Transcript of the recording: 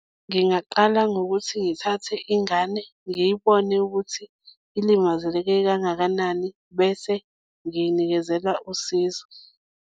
Ngingaqala ngokuthi ngithathe ingane ngiyibone ukuthi ilimazeleke kangakanani bese ngiyinikezela usizo.